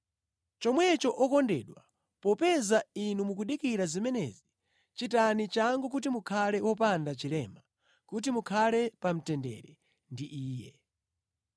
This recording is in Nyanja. Chomwecho okondedwa, popeza inu mukudikira zimenezi, chitani changu kuti mukhale wopanda chilema kuti mukhale pa mtendere ndi Iye.